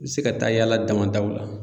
I bɛ se ka taa yaala damadaw la.